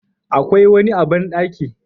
Akwai wani a bandaki